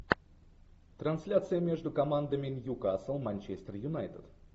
трансляция между командами ньюкасл манчестер юнайтед